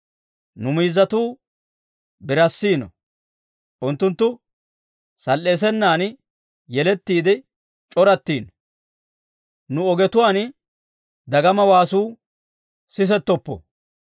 Nu miizzatuu birassino; unttunttu sal"eesenan yelettiide c'orattino. Nu ogetuwaan dagama waasuu sisettoppo.